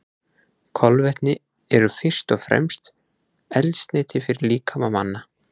Kolvetni eru fyrst og fremst eldsneyti fyrir líkama manna.